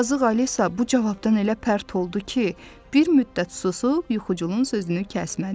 Yazıq Alisa bu cavabdan elə pərt oldu ki, bir müddət susub yuxuculun sözünü kəsmədi.